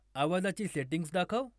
आवाजाची सेटिंग्ज दाखव